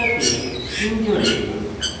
তারপর এটি file সাথে stream জোড়ে